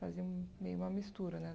Fazia meio uma mistura, né?